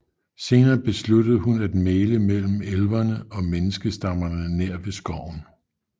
Senere besluttede hun at mægle mellem elverne og menneskestammerne nær ved skoven